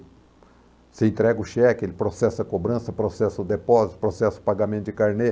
Você entrega o cheque, ele processa a cobrança, processa o depósito, processa o pagamento de carnê.